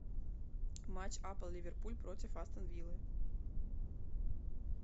матч апл ливерпуль против астон виллы